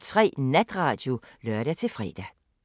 05:03: Natradio (lør-fre)